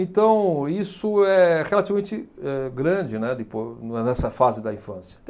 Então, isso é relativamente âh grande né, de po não é nessa fase da infância.